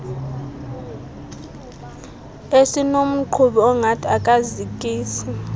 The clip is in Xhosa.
esinomqhubi ongathi akazikisi